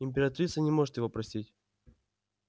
императрица не может его простить